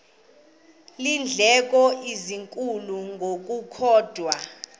iindleko ezinkulu ngokukodwa